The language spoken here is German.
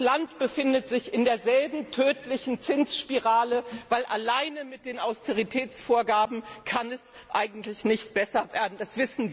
Das Land befindet sich in derselben tödlichen Zinsspirale, weil es alleine mit den Austeritätsvorgaben eigentlich nicht besser werden kann.